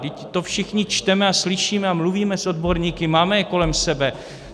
Vždyť to všichni čteme a slyšíme a mluvíme s odborníky, máme je kolem sebe.